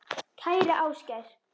Kæri Ásgeir.